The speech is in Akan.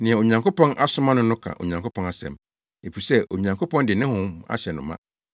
Nea Onyankopɔn asoma no no ka Onyankopɔn asɛm, efisɛ Onyankopɔn de ne Honhom ahyɛ no ma.